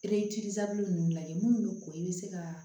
ninnu lajɛ minnu bɛ ko i bɛ se ka